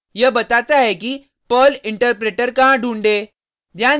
यह बताता है कि पर्ल इंटरप्रेटर कहाँ ढूंढे